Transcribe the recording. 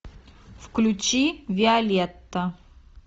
включи виолетта